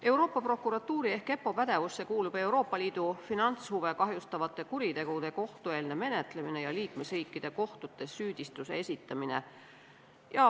Euroopa Prokuratuuri ehk EPPO pädevusse kuulub Euroopa Liidu finantshuve kahjustavate kuritegude kohtueelne menetlemine ja liikmesriikide kohtutes süüdistuse esitamine.